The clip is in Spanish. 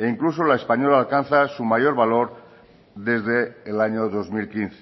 incluso la española alcanza su mayor valor desde el año dos mil quince